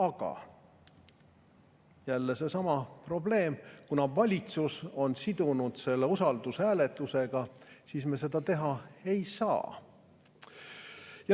Aga jälle seesama probleem: kuna valitsus on sidunud selle usaldushääletusega, siis me seda teha ei saa.